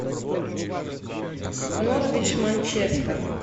норвич манчестер